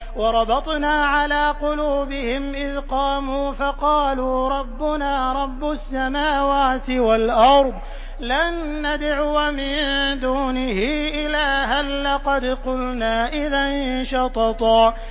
وَرَبَطْنَا عَلَىٰ قُلُوبِهِمْ إِذْ قَامُوا فَقَالُوا رَبُّنَا رَبُّ السَّمَاوَاتِ وَالْأَرْضِ لَن نَّدْعُوَ مِن دُونِهِ إِلَٰهًا ۖ لَّقَدْ قُلْنَا إِذًا شَطَطًا